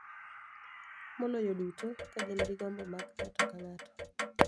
Maloyo duto, ka gin gi gombo mag ng�ato ka ng�ato .